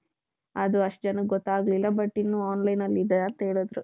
ಅದು ಅಷ್ಟೇನೂ ಗೊತ್ತಾಗ್ಲಿಲ್ಲ but ಇನ್ನೂ online ಅಲ್ಲಿದೆ ಅಂತ ಹೇಳಿದ್ರು.